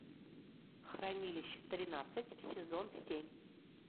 хранилище тринадцать сезон семь